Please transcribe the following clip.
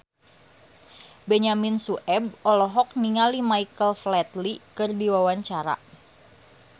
Benyamin Sueb olohok ningali Michael Flatley keur diwawancara